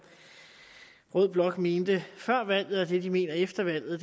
rød blok mente før valget og det de mener efter valget